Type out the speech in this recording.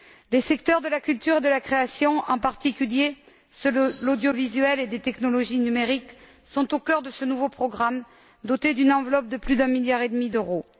Les secteurs de la culture et de la création, en particulier ceux de l'audiovisuel et des technologies numériques, sont au cœur de ce nouveau programme, doté d'une enveloppe de plus d'un milliard et demi d'euros.